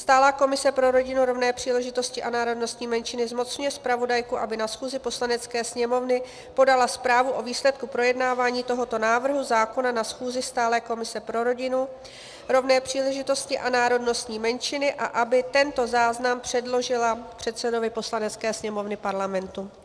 Stálá komise pro rodinu, rovné příležitosti a národnostní menšiny zmocňuje zpravodajku, aby na schůzi Poslanecké sněmovny podala zprávu o výsledku projednávání tohoto návrhu zákona na schůzi stálé komise pro rodinu, rovné příležitosti a národnostní menšiny a aby tento záznam předložila předsedovi Poslanecké sněmovny Parlamentu.